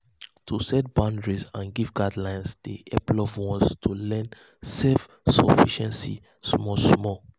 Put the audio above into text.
to set boundaries and give guidance dey hep loved ones to learn self-sufficiency small small.